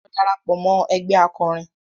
Lọ darapọ̀ mọ́ ẹgbé akọrin!